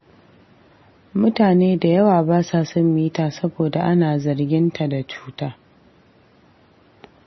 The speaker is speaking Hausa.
Mutane da yawa ba sa son mita saboda ana zargin ta da cuta.